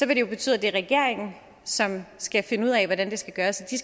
det jo betyde det er regeringen som skal finde ud af hvordan det skal gøres og